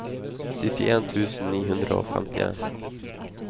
syttien tusen ni hundre og femtien